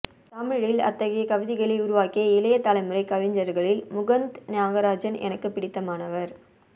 தமிழில் அத்தகைய கவிதைகளை உருவாக்கிய இளைய தலைமுறைக் கவிஞர்களில் முகுந்த் நாகராஜன் எனக்குப் பிடித்தமானவர்